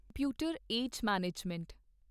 computer AGE management service LTD